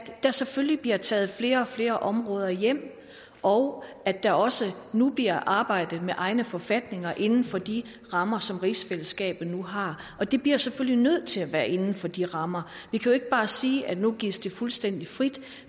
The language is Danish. at der selvfølgelig bliver taget flere og flere områder hjem og at der også nu bliver arbejdet med egne forfatninger inden for de rammer som rigsfællesskabet nu har og det bliver selvfølgelig nødt til at være inden for de rammer vi kan ikke bare sige at nu gives det fuldstændig frit